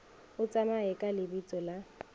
o tsamaye ka lebitso la